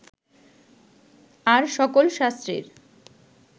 আর সকল শাস্ত্রের